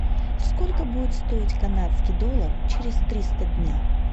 сколько будет стоить канадский доллар через триста дней